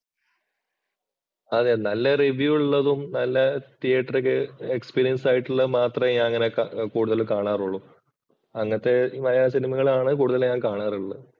അതെ നല്ല റിവ്യൂ ഉള്ളതും നല്ല തീയേറ്റര്‍ ഒക്കെ എക്സ്പീരിയന്‍സ് ആയിട്ടുള്ളത് മാത്രമേ ഞാൻ അങ്ങനെ കൂടുതൽ കാണാറുളളൂ. അങ്ങനത്തെ മലയാള സിനിമകളാണ് കൂടുതൽ ഞാൻ കാണാറുള്ളത്. .